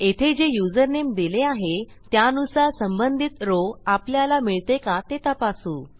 येथे जे युजरनेम दिले आहे त्यानुसार संबंधित रॉव आपल्याला मिळते का ते तपासू